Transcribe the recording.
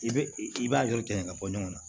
I bɛ i b'a juru tigɛ ka bɔ ɲɔgɔn na